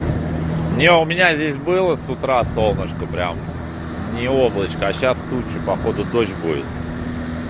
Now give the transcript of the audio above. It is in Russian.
не у меня здесь было с утра солнышко прям ни облачка а сейчас тучи походу дождь будет